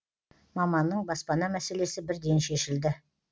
маманның баспана мәселесі бірден шешілді